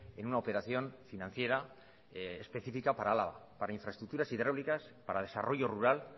en una operación financiera específica para álava para infraestructuras hidráulicas para desarrollo rural